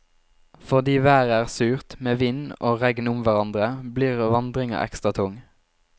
Fordi været er surt, med vind og regn om hverandre, blir vandringa ekstra tung.